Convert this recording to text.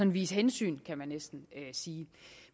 vise hensyn kan man næsten sige